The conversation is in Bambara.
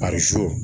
Ar so